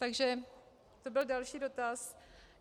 Takže to byl další dotaz.